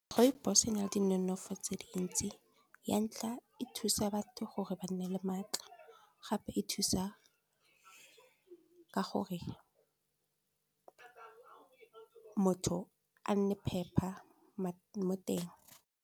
Rooibos-o nale di nonofo tse dintsi ya ntlha e thusa batho gore ba nne le maatla, gape e thusa ka gore motho a nne phepa mo teng.